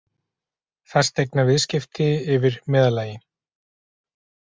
Fasteignaviðskipti yfir meðallagi